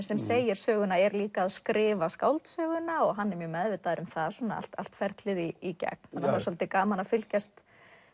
sem segir söguna er líka að skrifa skáldsöguna og hann er mjög meðvitaður um það allt allt ferlið í gegn það er svolítið gaman að fylgjast